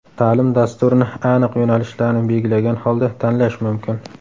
Ta’lim dasturini aniq yo‘nalishlarni belgilagan holda tanlash mumkin.